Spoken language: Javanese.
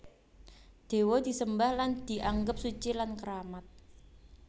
Dewa disembah lan dianggep suci lan keramat